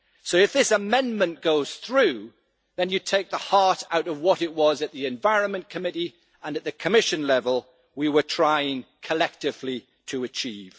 So if this amendment goes through, then you take the heart out of what it was that we at the Environment Committee and at the Commission level were trying collectively to achieve.